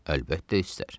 Əlbəttə istər.